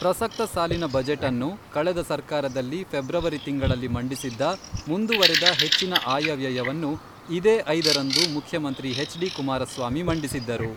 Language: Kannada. ಪ್ರಸಕ್ತ ಸಾಲಿನ ಬಜೆಟನ್ನು ಕಳೆದ ಸರ್ಕಾರದಲ್ಲಿ ಫೆಬ್ರವರಿ ತಿಂಗಳಲ್ಲಿ ಮಂಡಿಸಿದ್ದ ಮುಂದುವರೆದ ಹೆಚ್ಚಿನ ಆಯವ್ಯಯವನ್ನು ಇದೇ ಐದರಂದು ಮುಖ್ಯಮಂತ್ರಿ ಎಚ್ ಡಿ ಕುಮಾರಸ್ವಾಮಿ ಮಂಡಿಸಿದ್ದರು.